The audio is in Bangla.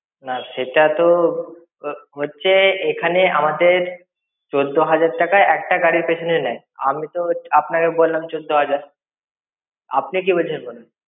নাহ, সেটা তো~ হোচ্ছে এখানে আমাদের~ চোদ্দহাজার টাকা একটা গাড়ির পেছনে নেয়. আমি তো আপনাকে বললাম চোদ্দহাজার। আপনি কি বলছেন বলুন।